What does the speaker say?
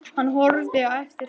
Hann horfði á eftir þeim.